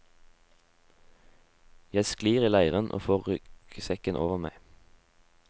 Jeg sklir i leiren og får ryggsekken over meg.